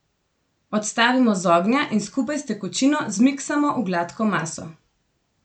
Odstavimo z ognja in skupaj s tekočino zmiksamo v gladko maso.